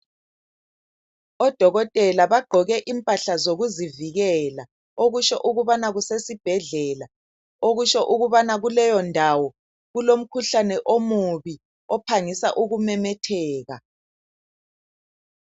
Odokotela bagqoke impahla zokuzivikela, okusho ukubana kusesibhedlela, okusho ukubana kuleyondawo kulomkhuhlane omubi ophangisa ukumemetheka.